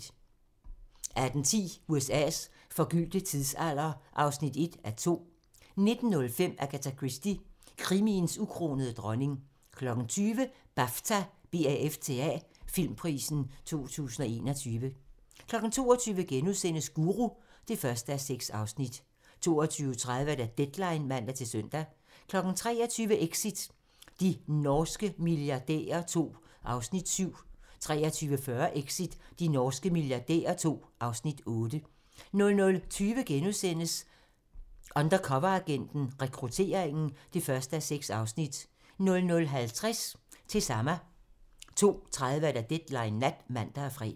18:10: USA's forgyldte tidsalder (1:2) 19:05: Agatha Christie - krimiens ukronede dronning 20:00: BAFTA-filmprisen 2021 22:00: Guru (1:6)* 22:30: Deadline (man-søn) 23:00: Exit – de norske milliardærer II (Afs. 7) 23:40: Exit – de norske milliardærer II (Afs. 8) 00:20: Undercoveragenten - Rekrutteringen (1:6)* 00:50: Til Sama 02:30: Deadline Nat (man og fre)